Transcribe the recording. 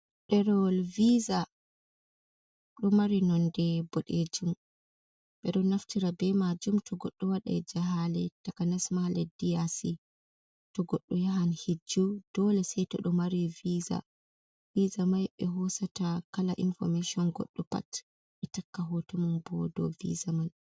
Ɗerowol viza ɗo mari nonde boɗejum ɓe ɗo naftira be maajum to goɗɗo wadai jahaale takanasma leddi yaasi to goɗɗo yahan hijju dole sai to ɗo mari viza, viza mai ɓe hosata kala infomeshin goɗɗo pat ɓe takka hoto mum bo dou viza man.